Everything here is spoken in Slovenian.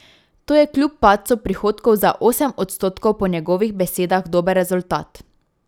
To je kljub padcu prihodkov za osem odstotkov po njegovih besedah dober rezultat.